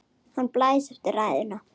Hann blæs eftir ræðuna.